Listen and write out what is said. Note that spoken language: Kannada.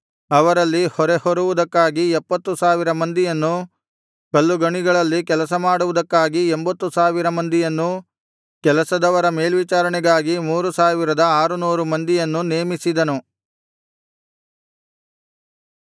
ಅವರಲ್ಲಿ ಹೊರೆಹೊರುವುದಕ್ಕಾಗಿ ಎಪ್ಪತ್ತು ಸಾವಿರ ಮಂದಿಯನ್ನೂ ಕಲ್ಲುಗಣಿಗಳಲ್ಲಿ ಕೆಲಸಮಾಡುವುದಕ್ಕಾಗಿ ಎಂಭತ್ತು ಸಾವಿರ ಮಂದಿಯನ್ನೂ ಕೆಲಸದವರ ಮೇಲ್ವಿಚಾರಣೆಗಾಗಿ ಮೂರು ಸಾವಿರದ ಆರುನೂರು ಮಂದಿಯನ್ನೂ ನೇಮಿಸಿದನು